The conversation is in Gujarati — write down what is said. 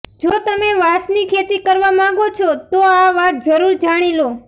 જો તમે વાંસની ખેતી કરવા માંગો છો તો આ વાત જરૂર જાણી લો